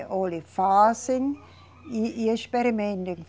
Olhe fazem e, e experimentem.